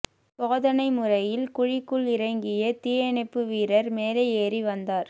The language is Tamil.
சோதனை முறையில் குழிக்குள் இறங்கிய தீயணைப்பு வீரர் மேலே ஏறி வந்தார்